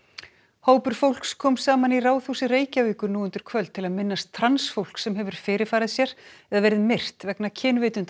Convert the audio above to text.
hópur fólks kom saman í Ráðhúsi Reykjavíkur nú undir kvöld til að minnast trans fólks sem hefur fyrirfarið sér eða verið myrt vegna kynvitundar